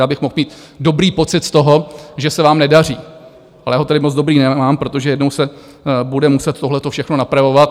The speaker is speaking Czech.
Já bych mohl mít dobrý pocit z toho, že se vám nedaří, ale já ho tedy moc dobrý nemám, protože jednou se bude muset tohle všechno napravovat.